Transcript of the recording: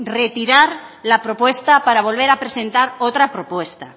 retirar la propuesta para volver a presentar otra propuesta